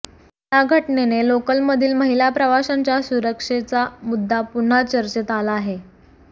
या घटनेने लोकलमधील महिला प्रवाशांच्या सुरक्षेचा मुद्दा पुन्हा चर्चेत आला आहे